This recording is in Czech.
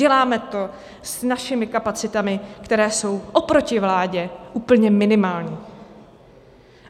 Děláme to s našimi kapacitami, které jsou oproti vládě úplně minimální.